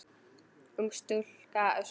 Ung stúlka óskar.